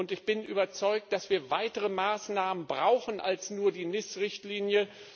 Ich bin überzeugt, dass wir weitere Maßnahmen brauchen als nur die NIS Richtlinie.